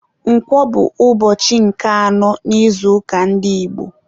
Nkwọ bụ ụbọchị nke anọ n'izuụka ndị Igbo.